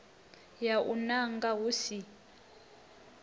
ya u nanga hu si